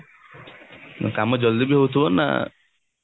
କାମ ଜଲଦି ବି ହଉଥିବା ନା